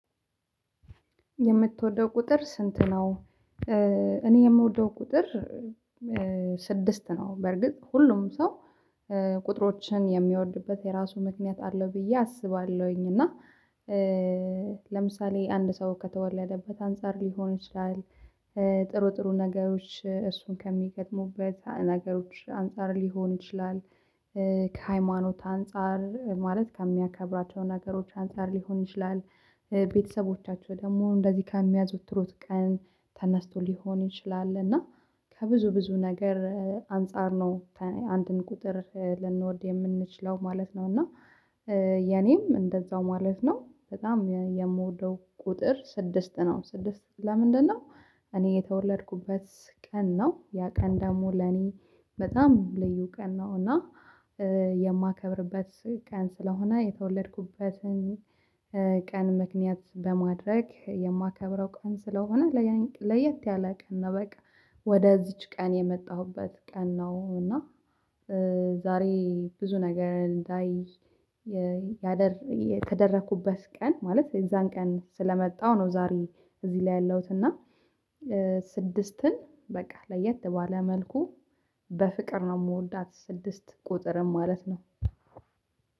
የምትወደው ቁጥር ስንት ነው? እኔ የምወደው ቁጥር ስድስት ነው። በርግጥ ሁሉም ሰው ቁጥሮችን የሚወድበት የራሱ ምክንያት አለው ብዬ አስባለሁኝ። እና ለምሳሌ አንድ ሰው ከተወለደበት አንፃር ሊሆን ይችላል። ጥሩ ጥሩ ነገሮች እሱን ከሚገጥሙበት ነገሮች አንፃር ሊሆን ይችላል። ከሃይማኖት አንፃር ማለት ከሚያከብራቸው ነገሮች አንፃር ሊሆን ይችላል። ቤተሰቦቻቸው ደግሞ እንደዚህ ከሚያዘወትሩት ቀን ተነስቶ ሊሆን ይችላል እና ከብዙ ብዙ ነገር አንፃር ነው አንድን ቁጥር ልንወድ የምንችለው ማለት ነው። እና የኔም እንደዛው ማለት ነው በጣም የምወደው ቁጥር ስድስት ነው። ስድስት ለምንድነው? እኔ የተወለድኩበት ቀን ነው ያ ቀን ደግሞ ለኔ በጣም ልዩ ቀን ነው። እና የማከብርበት ቀን ስለሆነ የተወለድኩበትን ቀን ምክንያት በማድረግ የማከብረው ቀን ስለሆነ ለየት ያለ ቀን ነው። በቃ ወደዚች ቀን የመጣሁበት ቀን ነው። እና ዛሬ ብዙ ነገር እንዳይ ያደር የተደረኩበት ቀን ማለት የዛን ቀን ስለመጣሁ ነው። ዛሬ እዚህ ላይ ያለሁት እና ስድስትን በቃ ለየት ባለ መልኩ በፍቅር ነው የምወዳት ስድስት ቁጥርን ማለት ነው።